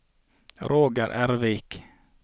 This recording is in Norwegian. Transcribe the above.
Roger Ervik